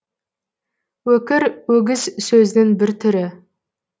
өкір өгіз сөзінің бір түрі